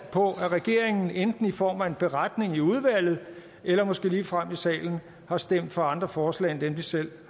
på at regeringen enten i form af en beretning i udvalget eller måske ligefrem i salen har stemt for andre forslag end dem de selv